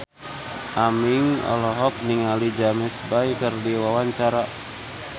Aming olohok ningali James Bay keur diwawancara